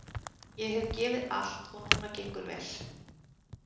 Ég hef gefið allt og núna gengur vel.